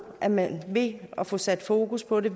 at man ved at få sat fokus på det